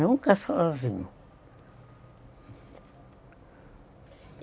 Nunca sozinho.